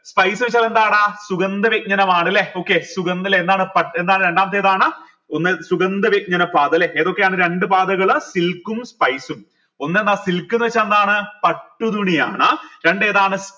spices എന്താണ് സുഗന്ധവ്യഞ്ജനമാണലെ okay സുഗന്ധ ല്ലെ എന്താണ് പട്ട് എന്താണ് രണ്ടാമത്തെ ഏതാണ് ഒന്ന് സുഗന്ധവ്യഞ്ജന പാത ല്ലെ ഏതൊക്കെയാണ് രണ്ട് പാതകൾ silk ഉം spice ഉം ഒന്ന് ഏതാ silk ന്ന് വെച്ച ന്താണ് പട്ടു തുനിയാണ് രണ്ട് ഏതാണ്